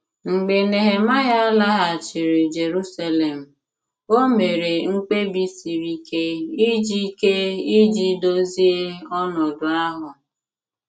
Mgbe Nehemaịa laghachiri Jerusalem, o mere mkpebi siri ike iji ike iji dozie ọnọdụ ahụ.